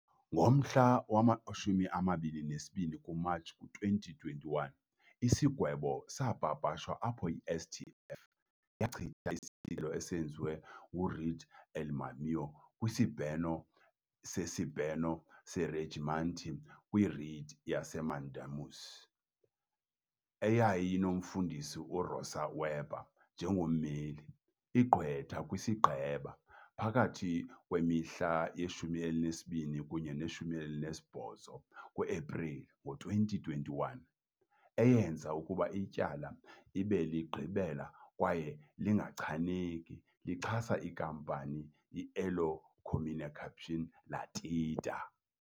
Ngomhla wama-22 kuMatshi, ku-2021, isigwebo sapapashwa apho i-STF yachitha izicelo esenziwe ngu-Rede União kwisibheno seSibheno seRegimental kwi-Writ yaseMandamus, eyayinomfundisi uRosa Weber njengommeli, igqwetha kwisigqeba phakathi kwemihla ye-12 kunye nowe-18 ku-Epreli, ngo-2021, eyenze ukuba ityala libe ligqibela kwaye lingachaneki lixhasa inkampani i-Elo Comunicação Ltda.